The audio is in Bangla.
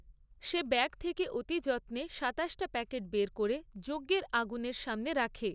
সে ব্যাগ থেকে অতি যত্নে সাতাশটা প্যাকেট বের করে যজ্ঞের আগুনের সামনে রাখে।